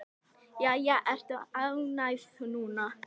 Jæja, ertu ánægð núna?